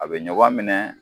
A bɛ ɲɔgɔn minɛ